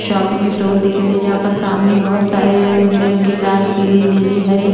shopping store दिख रही है जहां पर सामने बहुत सारी रंगबिरंगी लाल पीली नीली हरी--